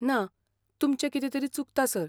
ना, तुमचें कितें तरी चुकता, सर.